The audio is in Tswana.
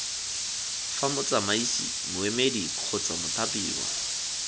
fa motsamaisi moemedi kgotsa mothapiwa